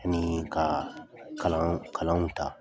Ani ka kalan kalanw ta